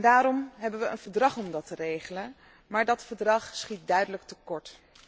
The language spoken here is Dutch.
Daarom hebben we een verdrag om dat te regelen, maar dat verdrag schiet duidelijk tekort.